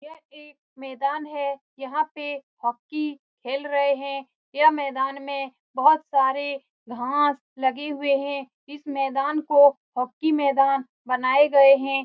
यह एक मैदान है यहाँ पे हॉकी खेल रहे है यह मैदान में बहुत सारे घांस लगे हुए है इस मैदान को हॉकी मैदान बनाये गए है।